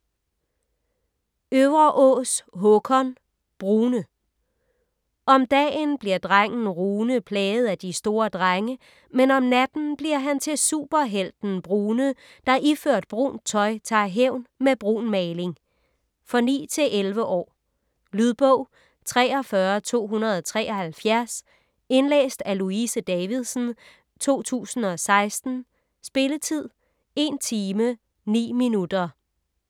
Øvreås, Håkon: Brune Om dagen bliver drengen Rune plaget af de store drenge, men om natten bliver han til superhelten Brune, der iført brunt tøj tager hævn med brun maling. For 9-11 år. Lydbog 43273 Indlæst af Louise Davidsen, 2016. Spilletid: 1 timer, 9 minutter.